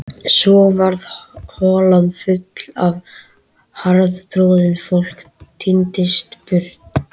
Svo varð holan full og harðtroðin, fólk tíndist burt.